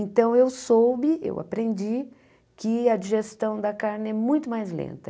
Então eu soube, eu aprendi que a digestão da carne é muito mais lenta.